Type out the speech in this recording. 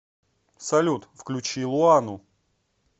салют включи луану